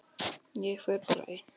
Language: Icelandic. Ég fer bara ein.